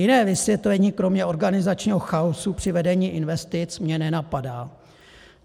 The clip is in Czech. Jiné vysvětlení kromě organizačního chaosu při vedení investic mě nenapadá.